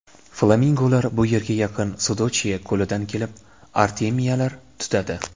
Flamingolar bu yerga yaqin Sudochye ko‘lidan kelib, artemiyalar tutadi.